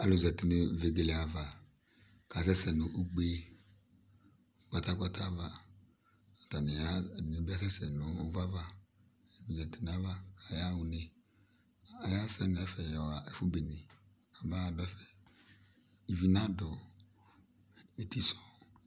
Alʋ zati nʋ vegele ava, kʋ akasɛsɛ nʋ ugbe kpata-kpata ava, kʋ ɛdɩnɩ bɩ asɛsɛ nʋ ʋvʋ ava, ɛdɩnɩ zati nʋ ayʋ ava kʋ ayaɣa une, ayasɛ nʋ ɛfɛ yɔɣa ɛfʋ bene kamaɣadʋ ɛfɛ, ivi nadʋ eti sʋ